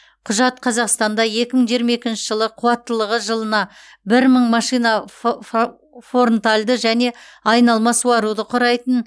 құжат қазақстанда екі мың жиырма екінші жылы қуаттылығы жылына бір мың машина фф форнтальді және айналма суаруды құрайтын